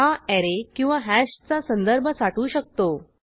हा ऍरे किंवा हॅशचा संदर्भ साठवू शकतो